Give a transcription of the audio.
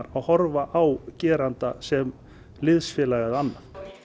að horfa á geranda sem liðsfélaga eða annað